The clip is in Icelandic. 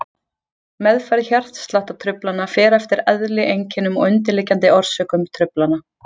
Meðferð hjartsláttartruflana fer eftir eðli, einkennum og undirliggjandi orsökum truflana.